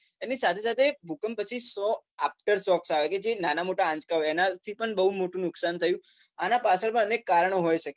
એની સાથે સાથે ભૂકંપ પછી શો after shocks આવ્યા કે જે નાના મોટા આંચકા હોય એનાથી પણ બહુ મોટું નુકસાન થયું આના પાછળ પણ અનેક કારણો હોય શકે